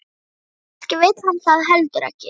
Kannski vill hann það heldur ekki.